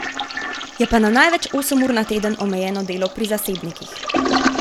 Je pa na največ osem ur na teden omejeno delo pri zasebnikih.